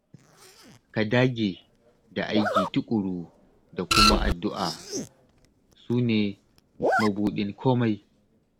Ka dage da aiki tuƙuru da kuma addu'a, su ne mabudin komai